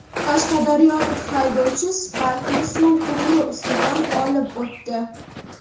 Qashqadaryolik haydovchi Spark’ni suv quvuri ustidan olib o‘tdi .